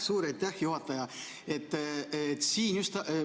Suur aitäh, juhataja!